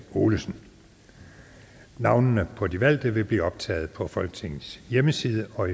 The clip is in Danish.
olesen navnene på de valgte vil blive optaget på folketingets hjemmeside og